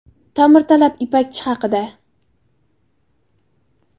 Ta’mirtalab Ipakchi haqida .